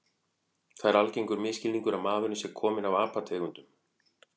Það er algengur misskilningur að maðurinn sé kominn af apategundum.